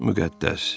Müqəddəs.